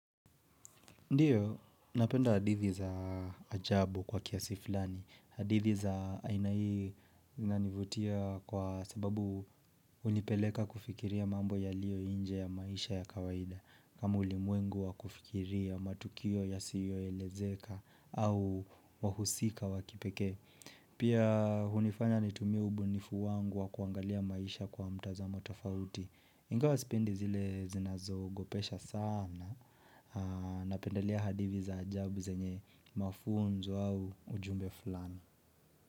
Ndiyo, napenda hadithi za ajabu kwa kiasi fulani. Hadithi za aina hii inanivutia kwa sababu hunipeleka kufikiria mambo yaliyo nje ya maisha ya kawaida. Kama ulimwengu wa kufikiria matukio yasiyoelezeka au wahusika wa kipekee. Pia hunifanya nitumie ubunifu wangu wa kuangalia maisha kwa mtazamo tofauti. Ingawa sepindi zile zinazoogopesha sana Napendelea hadithi za ajabu zenye mafunzo au ujumbe fulani.